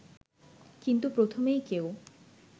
কিন্তু প্রথমেই কেউ